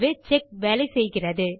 ஆகவே செக் வேலை செய்கிறது